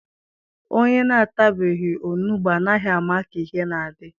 Onye na-atabeghị onugbu anaghị ama ka ihe na-adị